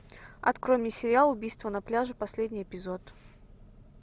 открой мне сериал убийство на пляже последний эпизод